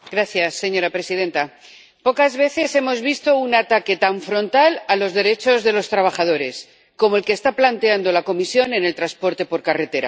Señora presidenta, pocas veces hemos visto un ataque tan frontal a los derechos de los trabajadores como el que está planteando la Comisión en el transporte por carretera.